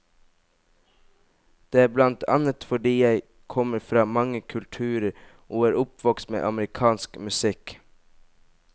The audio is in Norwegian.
Det er blant annet fordi jeg kommer fra mange kulturer, og er oppvokst med amerikansk musikk.